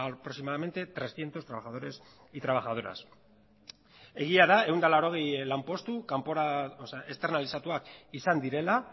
a aproximadamente trescientos trabajadores y trabajadoras egia da ehun eta laurogei lanpostu kanpora esternalizatuak izan direla